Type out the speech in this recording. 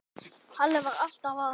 Halli var alltaf að.